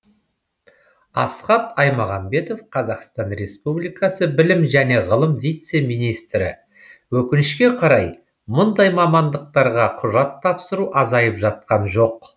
асхат аймағамбетов қазақстан республикасы білім және ғылым вице министрі өкінішке қарай мұндай мамандықтарға құжат тапсыру азайып жатқан жоқ